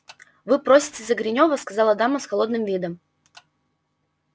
вы просите за гринёва сказала дама с холодным видом